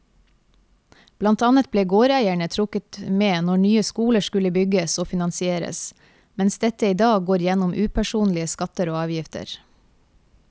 Blant annet ble gårdeierne trukket med når nye skoler skulle bygges og finansieres, mens dette i dag går gjennom upersonlige skatter og avgifter.